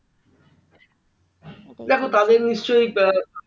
দেখো তাদের নিশ্চয়